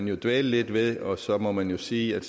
jo dvæles lidt ved og så må man sige at